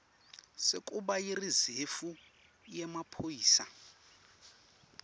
sekuba yirizefu yemaphoyisa